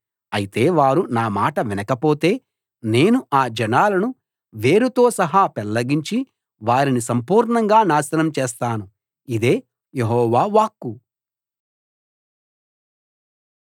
అయితే వారు నా మాట వినకపోతే నేను ఆ జనాలను వేరుతో సహా పెళ్ళగించి వారిని సంపూర్ణంగా నాశనం చేస్తాను ఇదే యెహోవా వాక్కు